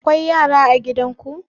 Akwai yara a gidan ku?